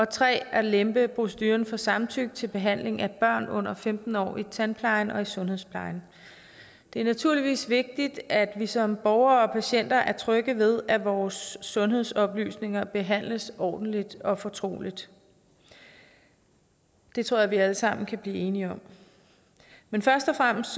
3 at lempe proceduren for samtykke til behandling af børn under femten år i tandplejen og i sundhedsplejen det er naturligvis vigtigt at vi som borgere og patienter er trygge ved at vores sundhedsoplysninger behandles ordentligt og fortroligt det tror jeg vi alle sammen kan blive enige om men først og fremmest